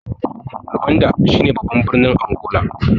Luanda shi babban birnin Angola.